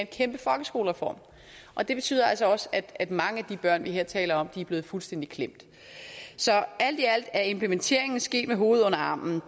kæmpe folkeskolereform og det betyder altså også at mange af de børn vi her taler om er blevet fuldstændig klemt så alt i alt at implementeringen er sket med hovedet under armen